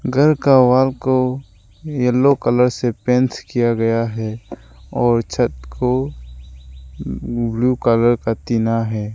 घर का वॉल को येलो कलर से पेंट किया गया है और छत को ब्लू कलर का टीना है।